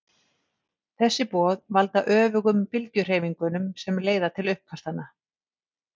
þessi boð valda öfugum bylgjuhreyfingunum sem leiða til uppkastanna